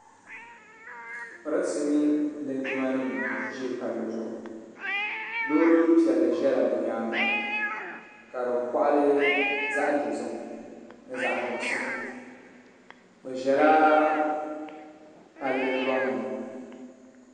pɛrinsi mini linjima nim n ʒɛ pali zuɣ' lori pɛli ʒɛla be nyɛŋa kadi koɣili zaɣ' dozim ni zaɣ' nuɣisu be ʒɛla pali luŋni